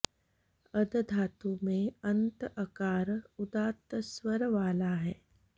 अद धातु में अन्त अकार उदात्त स्वर वाला है